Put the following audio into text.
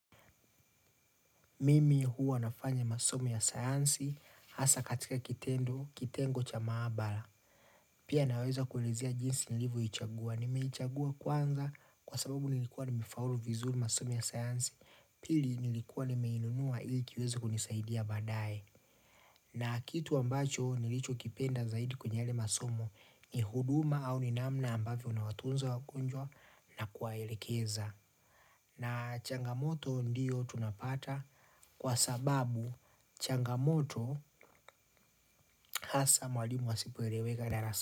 Mimi huwa nafanya masomo ya sayansi, hasa katika kitendo, kitengo cha maabara. Pia naweza kuulizia jinsi nilivoichagua, nimeichagua kwanza kwa sababu nilikuwa nimefaulu vizuri masomo ya sayansi, pili nilikuwa nimeinunua ili kiweze kunisaidia baadaye. Na kitu ambacho nilichokipenda zaidi kwenye yale masomo ni huduma au ni namna ambavyo nawatunza wagonjwa na kuwaelekeza. Na changamoto ndiyo tunapata kwa sababu changamoto hasa mwalimu asipoeleweka darasa.